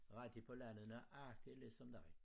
Rigtig på landet nøjagtig ligesom dig